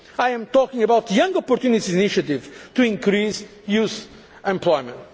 by SMEs. I am talking about the Young Opportunities initiative to increase youth